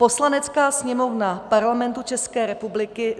Poslanecká sněmovna Parlamentu České republiky